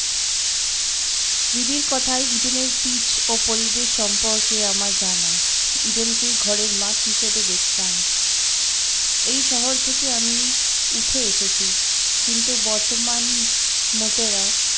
রিদির কথায় ইডেনের pitch ও পরিবেশ সম্পর্কে আমার জানা ইডেনকে ঘরের মাঠ হিসাবে দেখতাম এই শহর থেকে আমি উঠে এসেছি কিন্তু বর্তমান মোতেরা